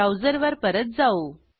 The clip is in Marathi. ब्राऊजरवर परत जाऊ